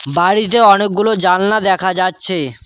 বাড়িতে অনেকগুলো জালনা দেখা যাচ্ছে।